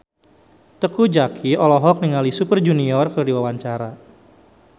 Teuku Zacky olohok ningali Super Junior keur diwawancara